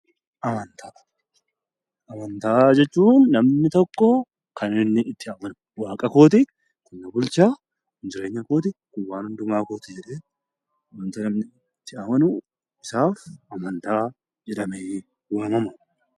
Amantaa Amantaa jechuun kan namni tokko kan inni itti amanu, Waaqa kooti, kun na bulcha, kun jireenya kooti, kun waan hundumaa kooti jedhee wanta namni itti amanu hundisaa 'Amantaa' jedhamee waamama.